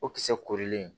O kisɛ korilen